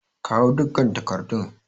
Kawo dukkan takardun!